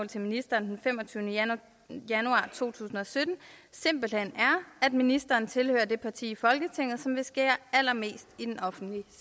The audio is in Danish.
til ministeren den femogtyvende januar to tusind og sytten simpelt hen er at ministeren tilhører det parti i folketinget som vil skære allermest i den offentlige